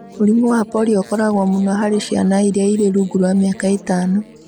Mũrimũ wa polio ũkoragwo mũno harĩ ciana iria irĩ rungu rwa mĩaka ĩtano.